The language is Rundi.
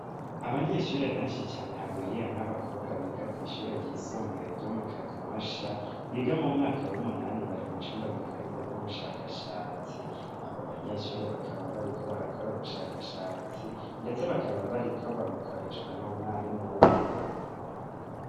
Abanyeshure benshi cane hagwiriyemwo abakobwa biga kw'ishure ryisumbuye ryo mu kanyosha biga mu mwaka w'umunani bari mucumba gikorerwamwo ubushakashatsi abo banyeshure bakaba bariko barakora ubushakashatsi, ndetse bakaba bariko babukoreshwa n'umwarimu w'umugabo.